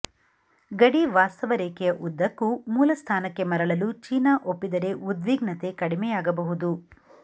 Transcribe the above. ಗಡಿ ವಾಸ್ತವ ರೇಖೆಯ ಉದ್ದಕ್ಕೂ ಮೂಲ ಸ್ಥಾನಕ್ಕೆ ಮರಳಲು ಚೀನಾ ಒಪ್ಪಿದರೆ ಉದ್ವಿಗ್ನತೆ ಕಡಿಮೆಯಾಗಬಹುದು